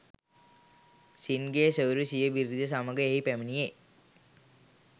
scene ගේ සොයුරා සිය බිරිය සමඟ එහි පැමිණෙයි